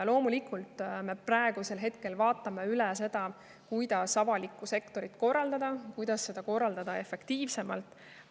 Loomulikult, me praegu vaatame üle, kuidas avalikku sektorit korraldada, kuidas seda korraldada efektiivsemalt.